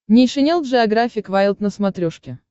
нейшенел джеографик вайлд на смотрешке